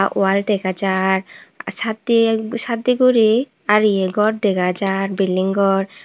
wall dega jar satdiye satdiye guri ariye gor dega jar building gor.